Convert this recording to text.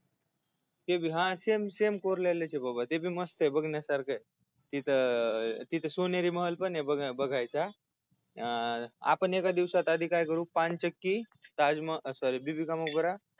हा same same कोरलेल्याचय बाबा ते बी मस्तय बघण्यासारखय तिथ अह तिथ सोनेरी महल पणय बघायचा अह आपण एका दिवसात आधी काय करु पान चक्की ताजमहल sorry बीबी का मकबरा